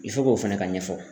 fana ka ɲɛfɔ.